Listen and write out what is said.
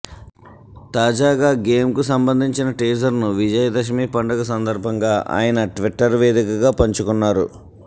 తాజాగా గేమ్కు సంబంధించిన టీజర్ను విజయదశమి పండుగ సందర్భంగా ఆయన ట్విటర్ వేదికగా పంచుకున్నారు